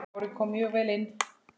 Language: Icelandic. Kári kom mjög vel inn.